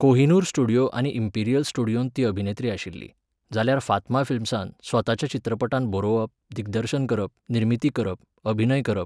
Kohinoor studio आनी Imperial स्टुडियोंत ती अभिनेत्री आशिल्ली, जाल्यार फातमा फिल्म्सांत, स्वताच्या चित्रपटांत बरोवप, दिग्दर्शन करप, निर्मिती करप, अभिनय करप.